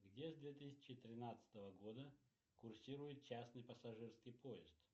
где с две тысячи тринадцатого года курсирует частный пассажирский поезд